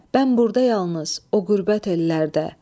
Mən burda yalnız, o qürbət ellərdə.